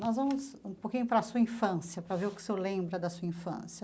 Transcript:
Nós vamos um pouquinho para a sua infância, para ver o que o senhor lembra da sua infância.